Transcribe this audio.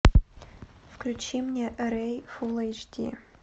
включи мне рэй фул эйч ди